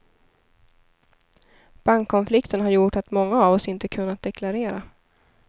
Bankkonflikten har gjort att många av oss inte kunnat deklarera.